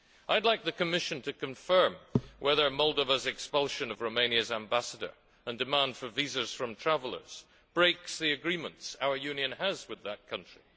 I would like the Commission to confirm whether Moldova's expulsion of Romania's Ambassador and demand for visas from travellers breaks the agreements our Union has with that country.